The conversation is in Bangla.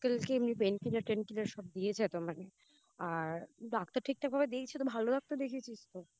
Uncle কে এমনি Pain killer Tain killer সব দিয়েছে তো মানে আর ডাক্তার ঠিকঠাকভাবে হয়েছে তো ভালো একটা দেখিয়েছিস তো